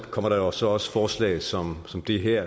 kommer der jo så også forslag som som det her